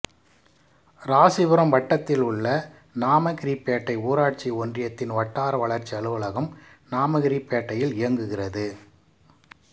இராசிபுரம் வட்டத்தில் உள்ள நாமகிரிப்பேட்டை ஊராட்சி ஒன்றியத்தின் வட்டார வளர்ச்சி அலுவலகம் நாமகிரிப்பேட்டையில் இயங்குகிறது